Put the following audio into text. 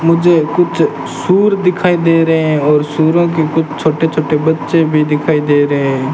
मुझे कुछ सूअर दिखाई दे रहे है और सूअर के कुछ छोटे छोटे बच्चे भी दिखाई दे रहे --